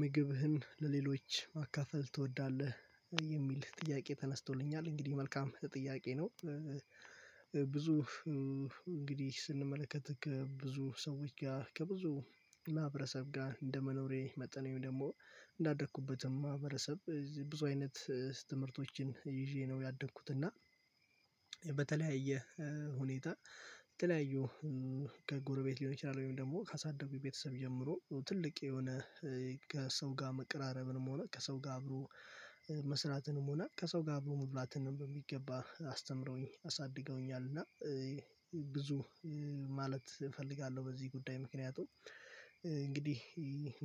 ምግብህን ለሌሎች ማካፈል ትወዳለህ የሚል ጥያቄ ተነስቶልኛል እንግዲህ መልካም ጥያቄ ነው። ብዙ እንግዲህ ስንመለከት ከብዙ ሰዎች ጋር ከብዙ ማህበረሰብ ጋር እንደመኖሬ መጠን ወይም ደግሞ እንዳደኩበትም ማህበረሰብ ብዙ አይነት ትምህርቶችን ይዤ ነው ያደኩት። እና በተለያየ ሁኔታ የተለያዩ ከጎረቤት ሊሆን ይችላል ወይም ደግሞ ካሳደጉኝ ቤተሰብ ጀምሮ ትልቅ የሆነ ከሰው ጋር መቅራረብንም ሆነ ከሰው ጋር አብሮ መስራትንም ሆነ ከሰው ጋር አብሮ መብላትንም በሚገባ አስተምረውኝ አሳድገውኛል። እና ብዙ ማለት እፈልጋለሁ በዚህ ጉዳይ ምክንያቱ ም እንግዲህ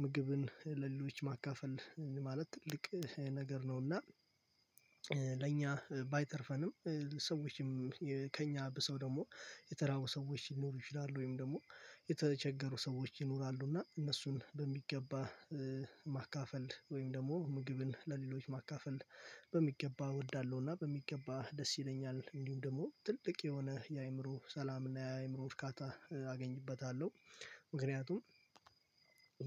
ምግብን ለሌሎች ማካፈል ማለት ትልቅ ነገር ነው። እና ለእኛ ባይተርፈንም ሰዎችም ከእኛ ብሰው ደግሞ የተራቡ ሰዎች ይኖሩ ይችላሉ ወይም ደግሞ የተቸገሩ ሰዎች ይኖራሉ እና እነሱን በሚገባ ማካፈል ወይም ደግሞ ምግብን ለሌሎች ማካፈል በሚገባ እወዳለሁ እና በሚገባ ደስ ይለኛል። እንዲሁም ደግሞ ትልቅ የሆነ የአእምሮ ሰላም እና የአእምሮ እርካታ አገኝበታለሁ። ምክንያቱም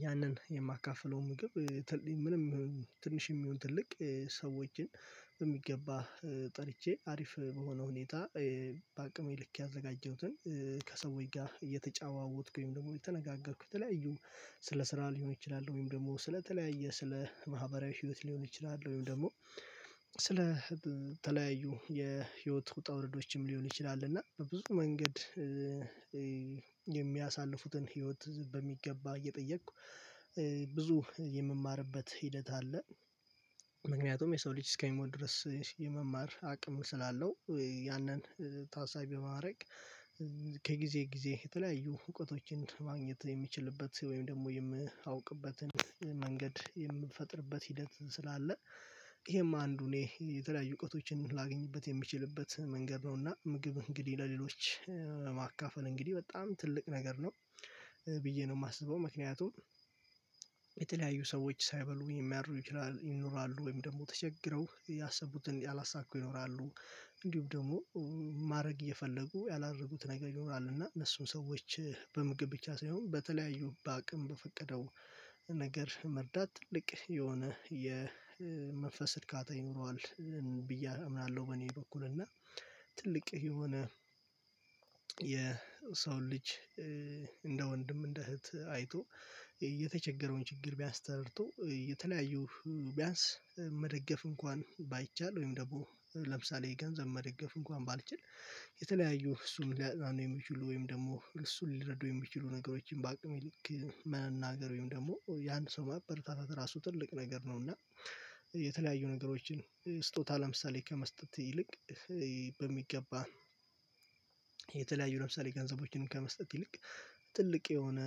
ያንን የማካፍለው ምግብ ምንም ትንሽ የሚሆን ትልቅ ሰዎችን በሚገባ ጠርቼ አሪፍ በሆነ ሁኔታ በአቅሜ ልክ ያዘጋጀሁትን ከሰዎች ጋር እየተጫዋወትኩ ወይም ደግሞ የተነጋገርኩት የተለያዩ ስለ ስራ ሊሆን ይችላል ወይም ደግሞ ስለተለያየ ስለ ማህበራዊ ህይወት ሊሆን ይችላል ወይም ደግሞ ስለ ተለያዩ የህይወት ውጣ ውረዶችም ሊሆን ይችላል እና በብዙ መንገድ የሚያሳልፉትን ህይወት በሚገባ እየጠየቅኩ ብዙ የምማርበት ሂደት አለ። ምክንያቱም የሰው ልጅ እስከሚሞት ድረስ የመማር አቅም ስላለው ያንን ታሳቢ ማዕረግ ጊዜ የተለያዩ እውቀቶችን ማግኘት የሚችልበት ወይም ደግሞ የምአውቅበትን የምፈጥርበት ሂደት ስላለ ይሄም አንዱ እኔ የተለያዩ እውቀቶችን ላገኝበት የምችልበት መንገድ ነው። እና ምግብ እንግዲህ ለሌሎች ማካፈል እንግዲህ በጣም ትልቅ ነገር ነው። ብዬ ነው የማስበው ምክንያቱም የተለያዩ ሰዎች ሳይበሉ የሚያደርጉ ይችላሉ ይኖራሉ ወይም ደግሞ ተቸግረው ያሰቡትን ያላሳኩ ይኖራሉ። እንዲሁም ደግሞ ማድረግ እየፈለጉ ያላረጉት ነገር ይኖራል እና እነሱም ሰዎች በምግብ ብቻ ሳይሆን በተለያዩ በአቅም በፈቀደው ነገር መርዳት ትልቅ የሆነ የመንፈስ እርካታ ይኖረዋል ብዬ አምናለሁ። በእኔ በኩል እና ትልቅ የሆነ የሰው ልጅ እንደ ወንድም እንደ እህት አይቶ የተቸገረውን ችግር ቢያንስ ተረድቶ የተለያዩ ቢያንስ መደገፍ እንኳን ባይቻል ወይም ደግሞ ለምሳሌ የገንዘብ መደገፍ እንኳን ባልችል የተለያዩ እሱም ሊያጥናኑ የሚችሉ ወይም ደግሞ እሱን ሊረዱ የሚችሉ ነገሮችን በአቅም ይልቅ መናገር ወይም ደግሞ ያን ሰው መበረታታት ራሱ ትልቅ ነገር ነው። እና የተለያዩ ነገሮችን ስጦታ ለምሳሌ ከመስጠት ይልቅ በሚገባ የተለያዩ ለምሳሌ ገንዘቦችንም ከመስጠት ይልቅ ትልቅ የሆነ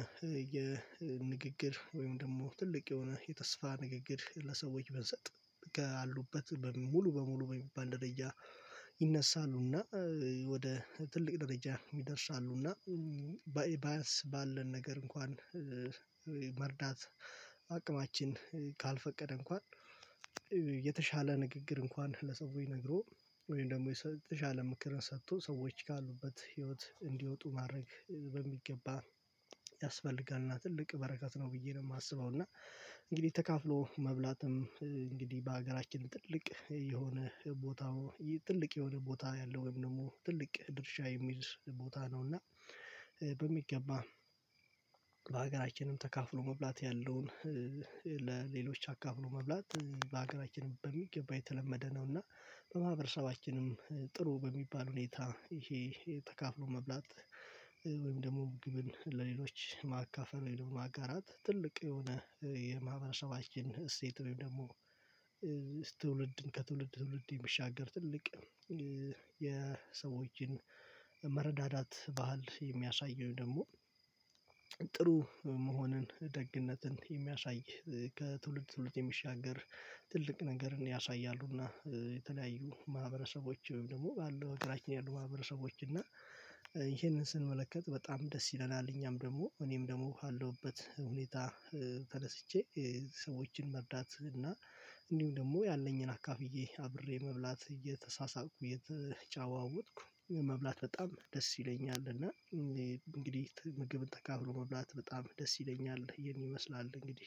የንግግር ወይም ደግሞ ትልቅ የሆነ የተስፋ ንግግር ለሰዎች ብንሰጥ ካሉበት ሙሉ በሙሉ በሚባል ደረጃ ይነሳሉና ወደ ትልቅ ደረጃ እና በኢባስ ባለን ነገር እንኳን መርዳት አቅማችን ካልፈቀደ እንኳን የተሻለ ንግግር እንኳን ለሰዎች ነግሮ ወይም ደግሞ አለም ምክርን ሰጥቶ ሰዎች ካሉበት ህይወት እንዲወጡ ማድረግ በሚገባ ያስፈልጋልና ትልቅ በረካት ነው። ብዬ ነው የማስበው እና እንግዲህ ተካፍሎ መብላትም እንግዲህ በሀገራችን ትልቅ የሆነ ቦታው ትልቅ የሆነ ቦታ ያለው ወይም ደግሞ ትልቅ ድርሻ የሚል ቦታ ነው። እና በሚገባ በሀገራችንም ተካፍሎ መብላት ያለውን አካፊሎ መብላት በሀገራችንም በሚገባ የተለመደ ነው። እና በማህበረሰባችንም ጥሩ በሚባል ሁኔታ ይሄ ተከፍሎ መብላት ወይም ደግሞ ግብን ለሌሎች ማካፈን የለውም አጋራት ትልቅ የሆነ የማህበረሰባችን እሴት ወይም ደግሞ ትውልድን ከትውልድ ትውልድ የሚሻገር ትልቅ የሰዎችን መረዳዳት ባህል የሚያሳየው ደግሞ ጥሩ መሆንን ደግነትን የሚያሳይ ከትውልድ ትውልድ የሚሻገር ትልቅ ነገርን ያሳያሉና። የተለያዩ ማህበረሰቦች ወይም ደግሞ ባለው እግራችን ያሉ ማህበረሰቦች እና ይሄንን ስንመለከት በጣም ደስ ይለናል። እኛም ደግሞ እኔም ደግሞ አለሁበት ሁኔታ ተደስቼ ሰዎችን መርዳት እና እንዲሁም ደግሞ ያለኝን አካፍዬ አብሬ መብላት እየተሳሳትኩ እየተጫዋወትኩ መብላት በጣም ደስ ይለኛል። እና እንግዲህ ምግብን ተካፍሎ መብላት በጣም ደስ ይለኛል የሚመስላል እንግዲህ